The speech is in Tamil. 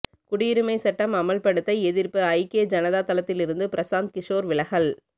குடியுரிமை சட்டம் அமல்படுத்த எதிர்ப்பு ஐக்கிய ஜனதா தளத்திலிருந்து பிரசாந்த் கிஷோர் விலகல்